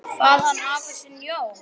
Kvað hann afa sinn, Jón